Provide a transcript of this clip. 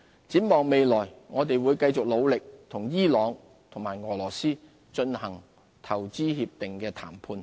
展望將來，我們會繼續努力與伊朗及俄羅斯進行投資協定談判。